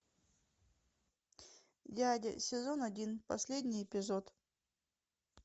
дядя сезон один последний эпизод